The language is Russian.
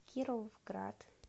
кировград